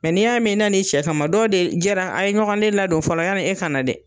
n'i y'a mɛn i na na i cɛ kama dɔw de jɛra a ye ɲɔgɔn le ladon fɔlɔ yanni e ka na dɛ.